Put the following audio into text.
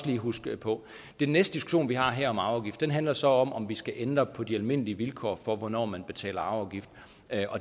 lige huske på den næste diskussion vi har her om arveafgift handler så om om vi skal ændre på de almindelige vilkår for hvornår man betaler arveafgift